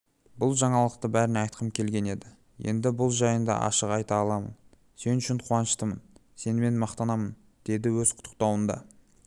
бұл жаңалықты бәріне айтқым келген еді енді бұл жайында ашық айта аламын сен үшін қуаныштымын сенімен мақтанамын деді өз құттықтауында